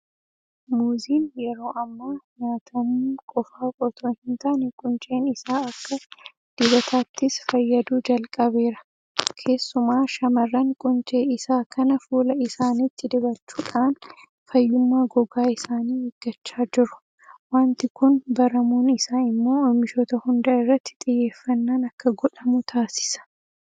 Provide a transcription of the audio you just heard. Muuziin yeroo ammaa nyaatamuu qofaaf itoo hintaane qunceen isaa akka dibataattis fayyaduu jalqabeera. Keessumaa shaamarran quncee isaa kana fuula isaaniitti dibachuudhaan fayyummaa gogaa isaanii eeggachaa jiru. Waanti kun baramuun isaa immoo oomishoota hunda irratti xiyyeeffannaan akka godhamu taasisa.